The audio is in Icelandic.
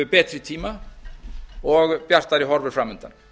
betri tíma og bjartari horfur fram undan